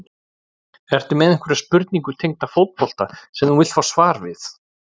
Ertu með einhverja spurningu tengda fótbolta sem þú vilt fá svar við?